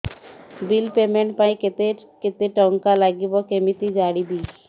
bill payment ପାଇଁ କେତେ କେତେ ଟଙ୍କା ଲାଗିବ କେମିତି ଜାଣିବି